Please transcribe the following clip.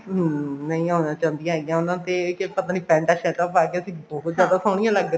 ਹਮ ਨਹੀਂ ਆਉਂਣਾ ਚਾਹੁੰਦੀਆ ਹੈਗਿਆ ਉਹਨਾ ਦੇ ਸਿਰਫ ਆਪਣੀ ਪੈਂਟਾ ਸ਼ਰਟਾਂ ਪਾਕੇ ਅਸੀਂ ਬਹੁਤ ਜਿਆਦਾ ਸੋਹਣੀ ਲੱਗ ਰਹੀਆਂ